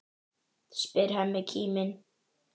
spyr Hemmi kíminn.